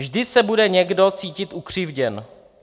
"Vždy se bude někdo cítit ukřivděn.